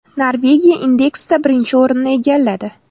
Norvegiya indeksda birinchi o‘rinni egalladi.